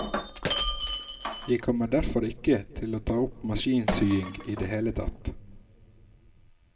Jeg kommer derfor ikke til å ta opp maskinsying i det hele tatt.